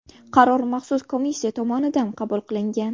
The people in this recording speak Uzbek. Qaror maxsus komissiya tomonidan qabul qilingan .